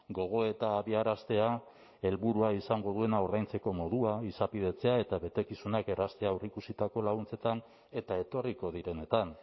gogoeta abiaraztea helburua izango duena ordaintzeko modua izapidetzea eta betekizunak erraztea aurreikusitako laguntzetan eta etorriko direnetan